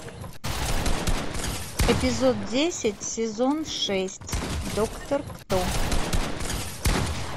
эпизод десять сезон шесть доктор кто